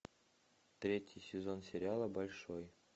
третий сезон сериала большой